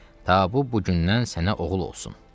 Ta bu bu gündən sənə oğul olsun.